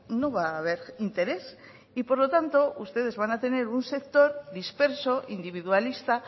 no va a ver interés y por lo tanto ustedes van a tener un sector disperso individualista